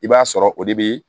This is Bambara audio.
I b'a sɔrɔ o de be